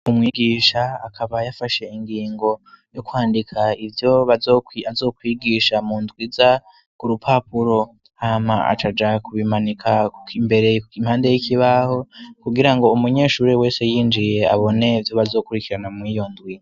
Umwigisha akabaye afashe ingingo yo kwandika ivyo baazokwigisha mu ndwi za gurupapuro hama aca aja kubimanika ko imbere impande y'ikibaho kugira ngo umunyeshurie wese yinjiye abone vyo bazokurikirana mwiyondwi.